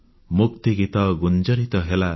ମୁକ୍ତିଗୀତ ଗୁଞ୍ଜରିତ ହେଲା